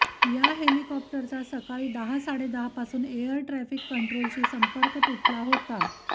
या हेलिकॉप्टरचा सकाळी दहा साडेदहापासून एअर ट्राफिक कंट्रोलशी संपर्क तुटला होता